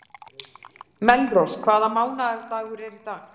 Melrós, hvaða mánaðardagur er í dag?